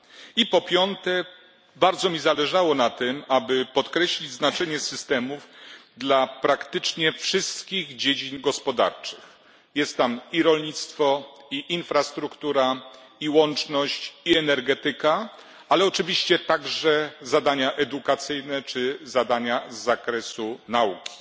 I po piąte, bardzo mi zależało na tym, aby podkreślić znaczenie systemów dla praktycznie wszystkich dziedzin gospodarczych. Jest tam i rolnictwo, i infrastruktura, i łączność, i energetyka, ale oczywiście także zadania edukacyjne czy zadania z zakresu nauki.